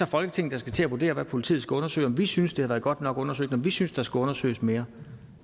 folketinget der skal til at vurdere hvad politiet skal undersøge om vi synes det har været godt nok undersøgt om vi synes der skal undersøges mere